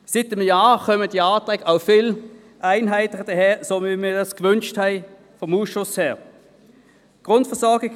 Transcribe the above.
Seit diesem Jahr kommen die Anträge denn auch viel einheitlicher daher, so wie wir dies seitens des Ausschusses gewünscht hatten.